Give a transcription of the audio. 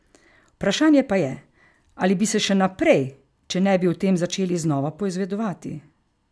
Vprašanje pa je, ali bi se še naprej, če ne bi o tem začeli znova poizvedovati.